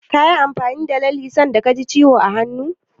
Kayi amfani da lalle sanda ka ji ciwo a hannu?